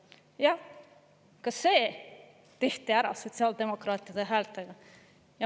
Jah, ka see tehti ära sotsiaaldemokraatide häältega.